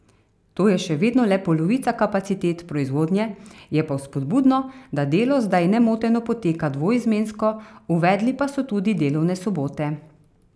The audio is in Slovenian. To je še vedno le polovica kapacitet proizvodnje, je pa vzpodbudno, da delo zdaj nemoteno poteka dvoizmensko, uvedli pa so tudi delovne sobote.